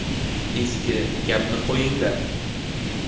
Eski gapni qo‘yinglar.